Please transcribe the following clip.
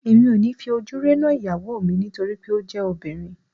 Èmi ò ní fi ojú rénà ìyàwó mi nítorí pé ó jẹ́ obìnrin